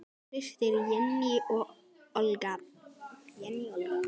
Þín systir, Jenný Olga.